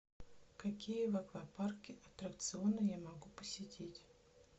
какие в аквапарке аттракционы я могу посетить